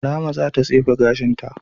Rahma za ta tsefe gashin ta.